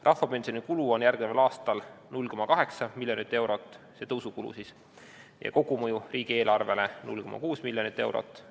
Rahvapensioni tõusu kulu on järgmisel aastal 0,8 miljardit eurot ja kogumõju riigieelarvele on 0,6 miljonit eurot.